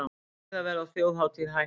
Miðaverð á þjóðhátíð hækkar